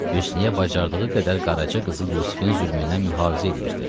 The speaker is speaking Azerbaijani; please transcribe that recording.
Hüsnüyə bacardığı qədər qaraçı qızı Yusifin zülmündən mühafizə eləyirdi.